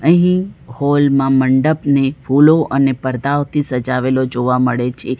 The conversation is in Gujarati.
અહીં હોલ માં મંડપને ફૂલો અને પરદાઓથી સજાવેલો જોવા મળે છે.